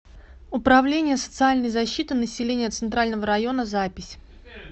управление социальной защиты населения центрального района запись